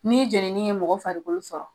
Ni jenini ye mɔgɔ farikolo sɔrɔ